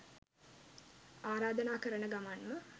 ආරාධනා කරන ගමන්ම